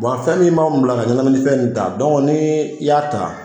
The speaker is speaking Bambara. fɛn min b'an bila ka ɲɛnamini fɛn in ta, n'i i y'a ta